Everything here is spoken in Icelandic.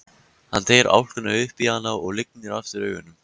Hann teygir álkuna upp í hana og lygnir aftur augunum.